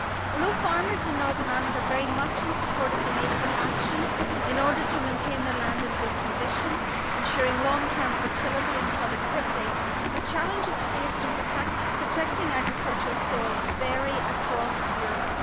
Although farmers in Northern Ireland are very much in support of the need for action, in order to maintain their land in good condition ensuring long term fertility and productivity, the challenges faced in protecting agricultural soils vary across Europe.